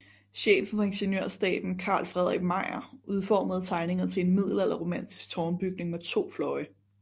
Chefen for Ingeniørstaben Carl Fredrik Meijer udformede tegningerne til en middelalderromantisk tårnbyggning med to fløje